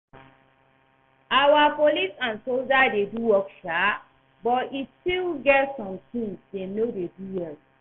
Our police and soldiers dey work shaa but e still get some things dem no dey do well